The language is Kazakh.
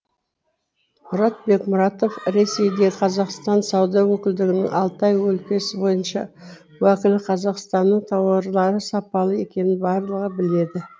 мұрат бекмұратов ресейде қазақстан сауда өкілдігінің алтай өлкесі бойынша уәкілі қазақстанның тауарлары сапалы екенін барлығы біледі